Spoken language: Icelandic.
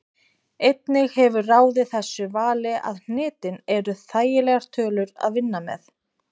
Einnig hefur ráðið þessu vali að hnitin eru þægilegar tölur að vinna með.